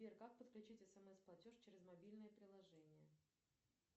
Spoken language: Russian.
сбер как подключить смс платеж через мобильное приложение